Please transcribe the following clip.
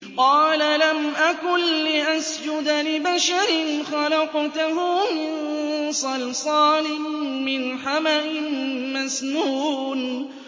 قَالَ لَمْ أَكُن لِّأَسْجُدَ لِبَشَرٍ خَلَقْتَهُ مِن صَلْصَالٍ مِّنْ حَمَإٍ مَّسْنُونٍ